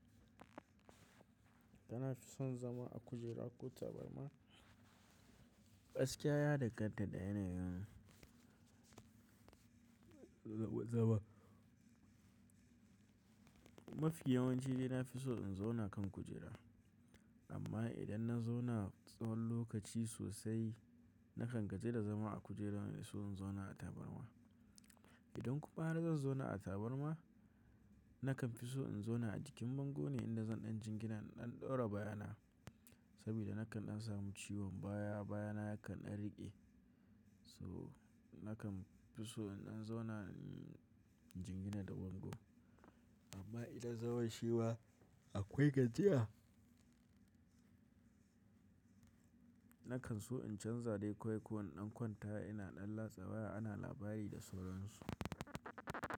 Nafi son zama a kujera ko tabarma, gaskiya ya danganta da yanayin zama. Mafiya yawanci dai nafi so in zauna kan kujera, amma idan na zauna tsawon lokaci sosai nakan gaji da zama a kujera na so in zauna a tabarma. Idan kuma har zan zauna a tabarma, nakan fi so in zauna a jikin bango ne inda zan ɗan jingina in dan ɗora baya na saboda nakan dan samu ciwon baya baya na yakan dan riƙe so nakan fi so in dan zauna in jingina da bango. Amma idan zaman shima akwai gajiya, nakan so in canza dai ko in ƙwanta ina ɗan latsa waya ana labari da sauran su.